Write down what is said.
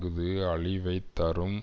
அஃது அழிவை தரும்